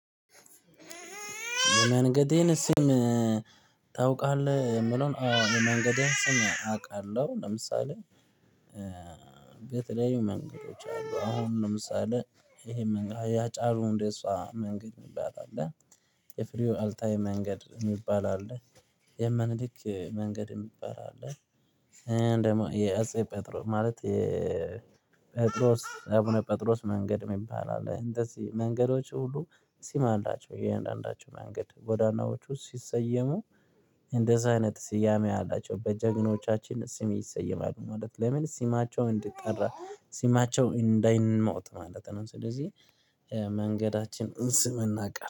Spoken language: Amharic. የመንገዴን ስም ታውቃለህ? የምለውን አዎ የመንገዴ ስም አውቃለሁ። ለምሳሌ የተለያዩ መንገዶች አሉ አሁን ለምሳሌ የሃጫሉ ሁንዴሳ መንገድ የሚባል አለ። የፍሬው አልታዬ መንገድ የሚባል አለ። የሚኒሊክ መንገድ የሚባል አለ። ደግሞ የ አቡነ ጴጥሮስ መንገድ የሚባል አለ። እንደዚህ መንገዶች ሁሉ ስምአላቸው የእያንዳንዳቸው መንገድ ጎዳናዎቹ ሲሰየሙ እንደዛ አይነት ስያሜ አላቸው በጀግኖቻችን ስም ይሰየማል ማለት ነው። ለምን ስማቸው እንዲጠራ ስማቸው እንዳይሞት ማለት ነው። ስለዚህ የመንገዳችንን ስም እናውቃለን